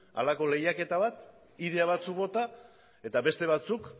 halako lehiaketa bat ideia batzuk bota eta beste batzuk